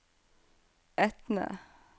Etne